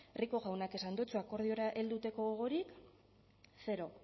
rico jaunak esan dotzu akordiora helduteko gogorik zero